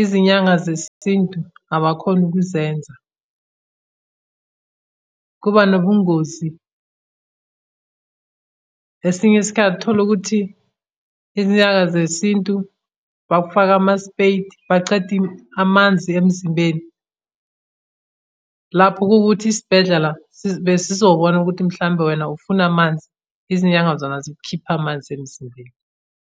izinyanga zesintu abakhoni ukuzenza, kuba nobungozi. Esinye isikhathi tholukuthi izinyanga zesintu bakufaka ama-spade bacede amanzi emzimbeni. Lapho kuwukuthi isibhedlela besizobona ukuthi mhlawumbe wena ufuna amanzi. Izinyanga zona zikukhipha amanzi emzimbeni.